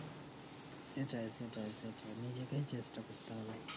সেটাই সেটাই সেটাই নিজেকেই চেষ্টা করতে হবে